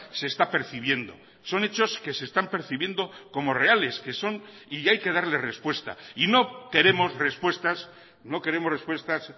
se está percibiendo son hechos que se están percibiendo como reales que son y hay que darle respuesta y no queremos respuestas no queremos respuestas